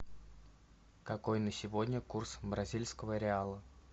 какой на сегодня курс бразильского реала